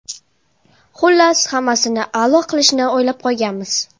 Xullas, hammasini a’lo qilishni o‘ylab qo‘yganmiz.